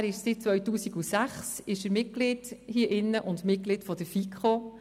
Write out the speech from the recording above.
Er ist seit 2006 Mitglied des Grossen Rats und Mitglied der FiKo.